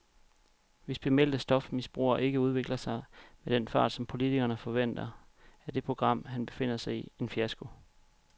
Hvis bemeldte stofmisbrugere ikke udvikler sig med den fart, som politikerne forventer, er det program, han befinder sig i, en fiasko.